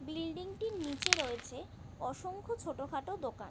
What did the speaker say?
Building টির নিচে রয়েছে অসংখ্য ছোট খাটো দোকান ।